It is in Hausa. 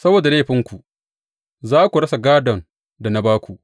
Saboda laifinku za ku rasa gādon da na ba ku.